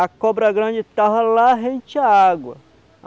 A cobra grande estava lá, rente à água.